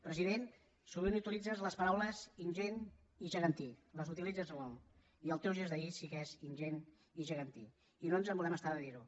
president sovint utilitzes les paraules ingent i gegantí les utilitzes molt i el teu gest d’ahir sí que és ingent i gegantí i no ens volem estar de dir ho